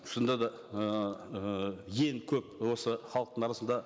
шынында да ыыы ең көп осы халықтың арасында